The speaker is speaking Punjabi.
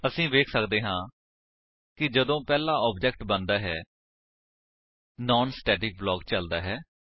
ਅਸੀ ਵੇਖ ਸੱਕਦੇ ਹਾਂ ਕਿ ਜਦੋਂ ਪਹਿਲਾ ਆਬਜੇਕਟ ਬਣਦਾ ਹੈ ਨਾਨ ਸਟੇਟਿਕ ਬਲਾਕ ਚਲਦਾ ਹੈ